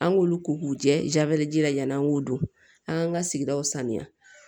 An k'olu ko k'u jɛ jabɛti ji la ɲana an k'u don an k'an ka sigidaw saniya